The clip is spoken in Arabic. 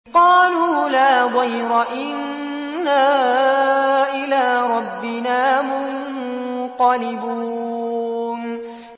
قَالُوا لَا ضَيْرَ ۖ إِنَّا إِلَىٰ رَبِّنَا مُنقَلِبُونَ